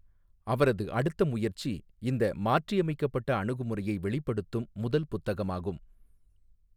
அவரது அடுத்த முயற்சி இந்த மாற்றியமைக்கப்பட்ட அணுகுமுறையை வெளிப்படுத்தும் முதல் புத்தகமாகும்.